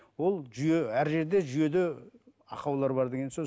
ол жүйе әр жерде жүйеде ақаулар бар деген сөз